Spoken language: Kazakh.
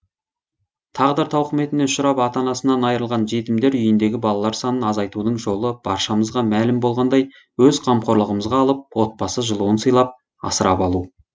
тағдыр тауқыметіне ұшырап ата анасынан айрылған жетімдер үйіндегі балалар санын азайтудың жолы баршамызға мәлім болғандай өз қамқорлығымызға алып отбасы жылуын сыйлап асырап алу